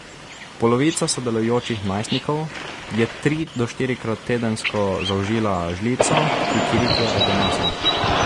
Polovica sodelujočih najstnikov je tri do štirikrat tedensko zaužila žlico kikirikijevega masla.